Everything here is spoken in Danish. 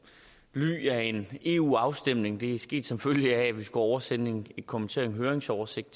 ly af en eu afstemning det er sket som følge af at vi skulle oversende en kommenteret høringsoversigt